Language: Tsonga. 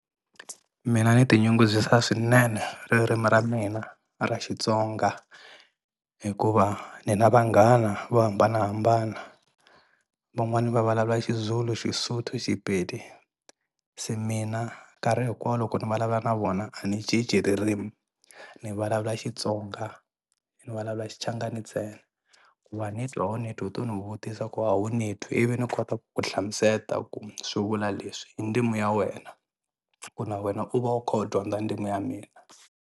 Mina ni ti nyungubyisa swinene ririmi ra mina ra Xitsonga hikuva ni na vanghana vo hambanahambana van'wani va vulavula Xizulu, Xisotho Xipedi se mina nkarhi hinkwawo loko ni vulavula na vona a ni cinci ririmi ni vulavula Xitsonga ni vulavula Xichangani ntsena ku wa ni twa a wu ni twi i to ni vutisa ku a wu ni twi ivi ni kota ku hlamusela ku swi vula leswi hi ndzimi ya wena ku na wena u va u kha u dyondza ndzimi ya mina.